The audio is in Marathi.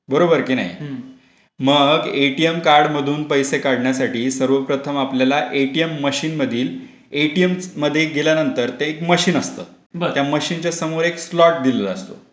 बरोबर आहे की नाही ? मग एटीएम कार्ड मधून पैसे काढण्यासाठी सर्वप्रथम आपल्याला एटीएम मशीन मधील एटीएम मध्ये गेल्यानंतर ते मशीन असत त्या मशीनच्या समोर एक स्लॉट दिलेला असतो.